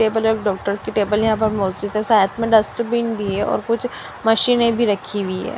Table एक doctor की table यहां पर शायद में डस्टबिन भी है और कुछ मशीने भी रखी हुई है।